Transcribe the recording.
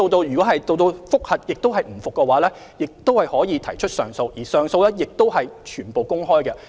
如果經覆核後當事人仍不服，亦可提出上訴，而上訴聆訊亦完全公開。